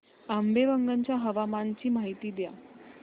आंबेवंगन च्या हवामानाची माहिती द्या